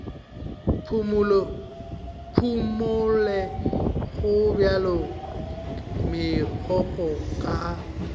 phumole gobjalo megokgo ka a